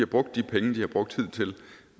brugt de penge de har brugt hidtil